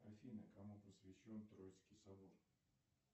афина кому посвящен троицкий собор